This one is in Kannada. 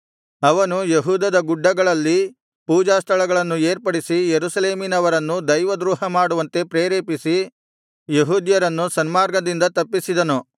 ಅವನು ಯೆಹೂದದ ಗುಡ್ಡಗಳಲ್ಲಿ ಪೂಜಾ ಸ್ಥಳಗಳನ್ನು ಏರ್ಪಡಿಸಿ ಯೆರೂಸಲೇಮಿನವರನ್ನು ದೈವದ್ರೋಹ ಮಾಡುವಂತೆ ಪ್ರೇರೇಪಿಸಿ ಯೆಹೂದ್ಯರನ್ನು ಸನ್ಮಾರ್ಗದಿಂದ ತಪ್ಪಿಸಿದನು